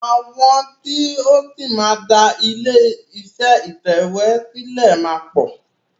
Àwọn tí o ṣì máa dá ilé iṣé ìtẹ̀wé sílẹ̀ máa pọ̀.